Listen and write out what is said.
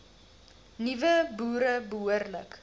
nuwe boere behoorlik